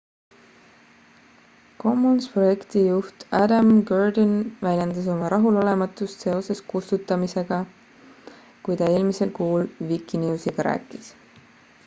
commons projekti juht adam cuerden väljendas oma rahulolematust seoses kustutamistega kui ta eelmisel kuul wikinewsiga rääkis